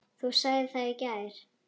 Þú sagðir það í gær.